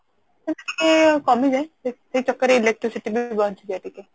ସେମିତି ଟିକେ କାମିଯାଏ ସେ ଚକ୍କର ରେ Electricity ବି ବଞ୍ଚିଯାଏ ଟିକେ